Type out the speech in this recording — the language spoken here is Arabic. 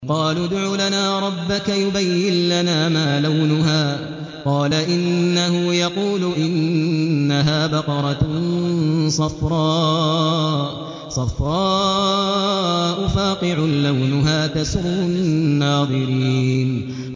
قَالُوا ادْعُ لَنَا رَبَّكَ يُبَيِّن لَّنَا مَا لَوْنُهَا ۚ قَالَ إِنَّهُ يَقُولُ إِنَّهَا بَقَرَةٌ صَفْرَاءُ فَاقِعٌ لَّوْنُهَا تَسُرُّ النَّاظِرِينَ